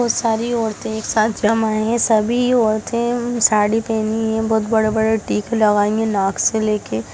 बहुत सारी औरते एक साथ जमा है सभी औरते साड़ी पेहनी है अम बहुत बड़े-बड़े टीके लगाई है नाक से लेके--